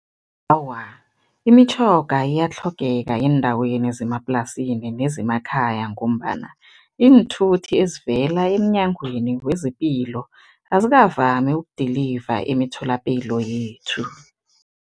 Awa, imitjhoga iyatlhogeka eendaweni zemaplasini nezemakhaya ngombana iinthuthi ezivela emnyangweni wezepilo azikavami uku-deliver emitholapilo yethu.